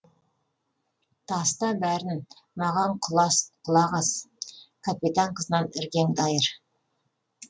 таста бәрін маған құлақ ас капитан қызынан іргеңді айыр